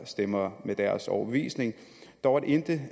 stemmer med deres overbevisning dog at intet